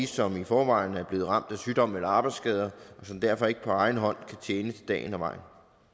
som i forvejen er blevet ramt af sygdom eller arbejdsskader og som derfor ikke på egen hånd kan tjene til dagen og vejen